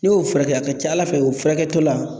N'i y'o furakɛ a ka ca Ala fɛ o furakɛtɔla